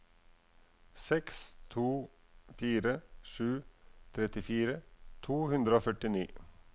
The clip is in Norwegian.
seks to fire sju trettifire to hundre og førtini